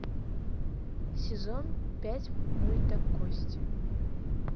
сезон пять мульта кости